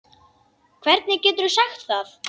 Hvernig geturðu sagt það?